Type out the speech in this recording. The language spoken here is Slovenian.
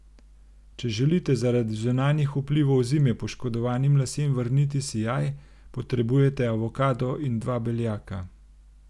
Če želite zaradi zunanjih vplivov zime poškodovanim lasem vrniti sijaj, potrebujete avokado in dva beljaka.